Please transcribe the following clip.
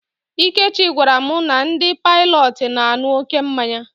Ikechi gwara m na ndị Paịlọt na-aṅụ oké mmanya